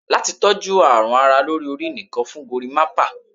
Lati toju arun ara lori ori, nìkan fun gorimapa